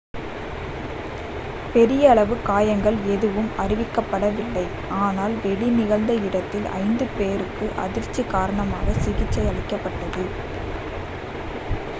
பெரிய அளவு காயங்கள் எதுவும் அறிவிக்கப்படவில்லை ஆனால் வெடி நிகழ்ந்த இடத்தில் ஐந்து பேருக்கு அதிர்ச்சி காரணமாக சிகிச்சை அளிக்கப்பட்டது